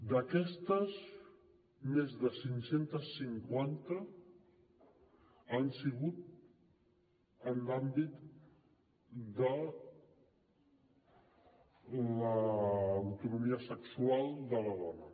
d’aquestes més de cinc cents i cinquanta han sigut en l’àmbit de l’autonomia sexual de la dona